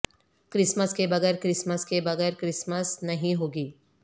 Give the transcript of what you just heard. Christmas کے بغیر Christmas کے بغیر کرسمس نہیں ہوگی